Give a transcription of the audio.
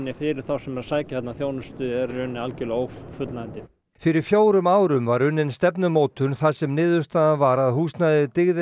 fyrir þá sem sækja þarna þjónustu er í rauninni algerlega ófullnægjandi fyrir fjórum árum var unnin stefnumótun þar sem niðurstaðan var að húsnæðið dygði